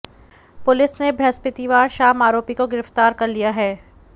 police ने बृहस्पतिवार शाम आरोपी को गिरफ्तार कर लिया है